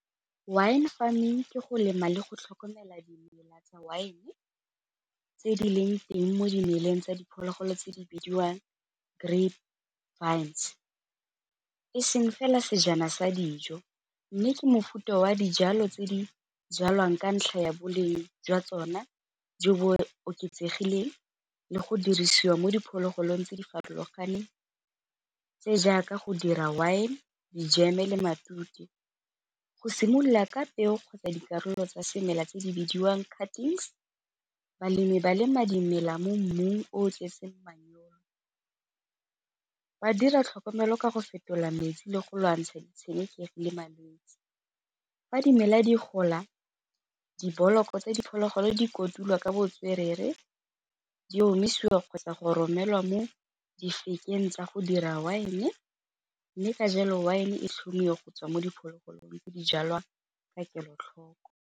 Wine farming ke go lema le go tlhokomela dimela tsa wine, tse di leng teng mo dimeleng tsa diphologolo tse di bidiwang grape vines e seng fela sejana sa dijo, mme ke mofuta wa dijalo tse di jalwang ka ntlha ya boleng jwa tsone jo bo oketsegileng le go dirisiwa mo diphologolong tse di farologaneng tse jaaka go dira wine, dijeme le matute. Go simolola ka peo kgotsa dikarolo tsa semela tse di bidiwang balemi ba lema dimela mo mmung o o tletseng . Ba dira tlhokomelo ka go fetola metsi le go lwantsha ditshenekegi le malwetse, fa dimela di gola tsa diphologolo di kotulwa ka botswerere, di omisiwa kgotsa go romelwa mo tsa go dira wine, mme ka jalo wine tlhomiwa go tswa mo diphologolong tse di jalwa ka kelotlhoko.